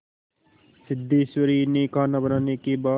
सिद्धेश्वरी ने खाना बनाने के बाद